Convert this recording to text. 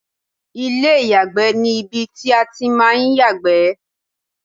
ilé ìyàgbẹ́ ni ibi tí a ti ń máà ń yàgbẹ́